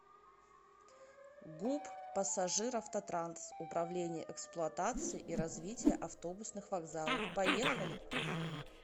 гуп пассажиравтотранс управление эксплуатации и развития автобусных вокзалов поехали